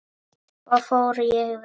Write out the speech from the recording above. Svo fór ég vestur.